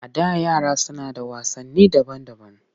A da yara suna da wasanni daban-daban